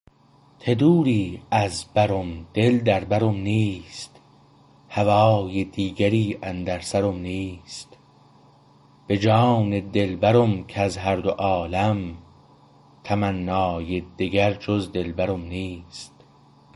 ته دوری از برم دل در برم نیست هوای دیگری اندر سرم نیست به جان دلبرم کز هر دو عالم تمنای دگر جز دلبرم نیست